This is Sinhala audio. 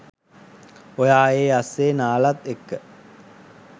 ඔයා ඒ අස්සෙ නාලත් එක්ක